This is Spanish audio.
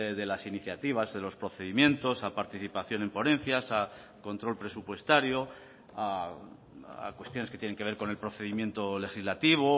de las iniciativas de los procedimientos a participación en ponencias a control presupuestario a cuestiones que tienen que ver con el procedimiento legislativo